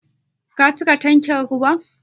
Ka cika tankin da ruwa?